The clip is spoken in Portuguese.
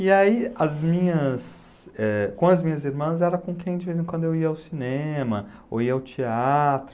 E aí, as minhas eh, com as minhas irmãs, era com quem de vez em quando eu ia ao cinema, ou ia ao teatro.